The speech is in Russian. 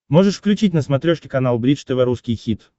можешь включить на смотрешке канал бридж тв русский хит